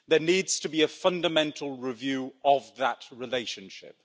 There needs to be a fundamental review of that relationship.